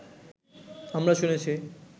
আমরা শুনেছি